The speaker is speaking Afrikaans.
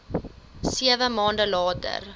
sewe maande later